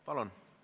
Palun!